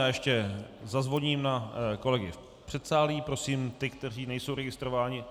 Já ještě zazvoním na kolegy v předsálí, prosím ty, kteří nejsou registrováni.